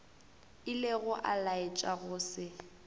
ilego a laetša go se